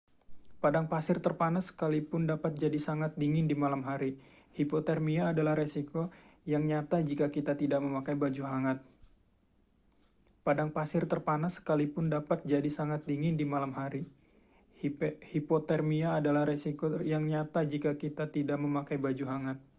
padang pasir terpanas sekalipun dapat jadi sangat dingin di malam hari hipotermia adalah risiko yang nyata jika kita tidak memakai baju hangat